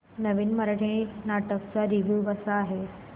नवीन मराठी नाटक चा रिव्यू कसा आहे